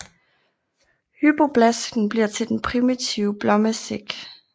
Hypoblasten bliver til den primitive blommesæk